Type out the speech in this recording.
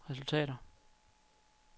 resultater